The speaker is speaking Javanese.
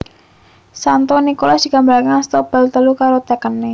Santo Nikolas digambaraké ngasta bal telu karo tekené